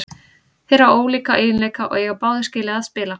Þeir hafa ólíka eiginleika og eiga báðir skilið að spila.